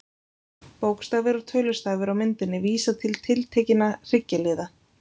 Bókstafir og tölustafir á myndinni vísa til tiltekinna hryggjarliða.